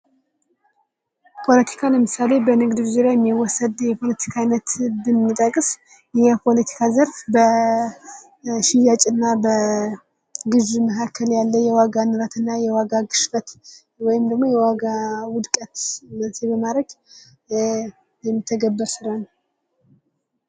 ፖለቲካ ለምሳሌ በንግዱ ዙሪያ የሚወሰን የፖለቲካ አይነት ብንጠቅስ የንግዱ ዘርፍ በሽያጭ እና በግዥ መካከል ያለ የዋጋ ንረትና የዋጋ ግሽበት ወይም ደግሞ የዋጋ ዉድቀት መንስኤ በማድረግ የሚተገበር ስራ ነዉ።